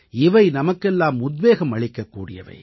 இவை நமக்கெல்லாம் உத்வேகம் அளிக்கக் கூடியவை